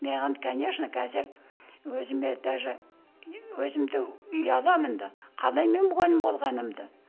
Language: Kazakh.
маған конечно қазір өзіме даже өзімді ұяламын да қалай мен мұғалім болғанымды